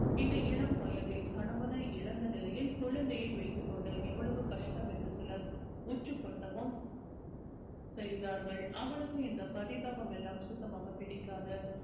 இந்த இளம் வயதில் கணவனை இழந்த நிலையில் குழந்தையை வைத்துக் கொண்டு எவ்வளவு கஷ்டம் என்று சிலர் உச்சி கொட்டவும் செய்தார்கள் அவளுக்கும் இந்த பரிதாபம் எல்லாம் சுத்தமாக பிடிக்காது